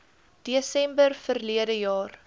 desember verlede jaar